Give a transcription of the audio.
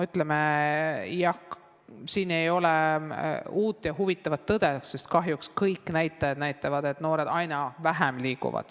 Jah, siin ei ole uut ja huvitavat tõde, sest kahjuks kõik näitajad näitavad, et noored liiguvad aina vähem.